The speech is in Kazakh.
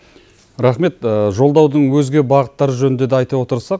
рахмет жолдаудың өзге бағыттары жөнінде де айта отырсық